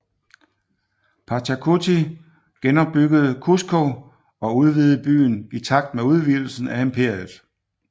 Pachacuti genopbyggede Cusco og udvidede byen i takt med udvidelsen af imperiet